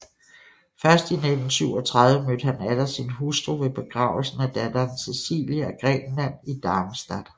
Først i 1937 mødte han atter sin hustru ved begravelsen af datteren Cecilie af Grækenland i Darmstadt